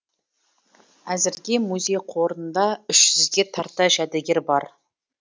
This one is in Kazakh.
әзірге музей қорында үш жүзге тарта жәдігер бар